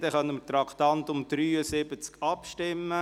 Somit können wir über das Traktandum 73 abstimmen.